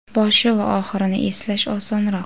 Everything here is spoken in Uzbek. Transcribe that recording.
Boshi va oxirini eslash osonroq.